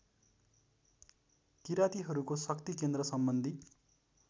किरातीहरूको शक्तिकेन्द्र सम्बन्धी